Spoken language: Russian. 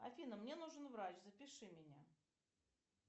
афина мне нужен врач запиши меня